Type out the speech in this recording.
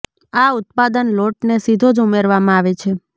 આ ઉત્પાદન લોટને સીધો જ ઉમેરવામાં આવે છે